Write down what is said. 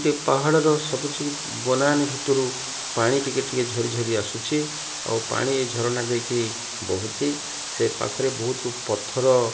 ପାହାଡ଼ର ସବୁଜ ବନାନି ଭିତରୁ ପାଣି ଟିକେ ଟିକେ ଝରି ଝରି ଆସୁଛି ଆଉ ପାଣି ଏ ଝରଣା ଦେଇକି ବୋହୁଛି ସେ ପାଖରେ ବହୁତୁ ପଥର।